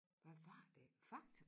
Hvad var det Fakta